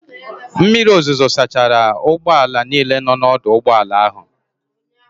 Mmiri ozuzo sachara ụgbọala niile nọ n'ọdụ ụgbọala ahụ.